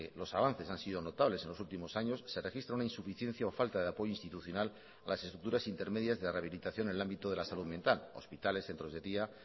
los avances han sido notables en los últimos años se registra una insuficiencia o falta de apoyo institucional en las estructuras intermedias de rehabilitación en el ámbito de salud mental hospitales centros de día